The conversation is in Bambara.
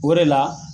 O de la